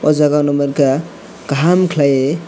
aw jaaga nugmanka kaham khalai.